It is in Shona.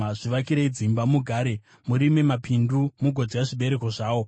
“Zvivakirei dzimba mugare; murime mapindu mugodya zvibereko zvawo.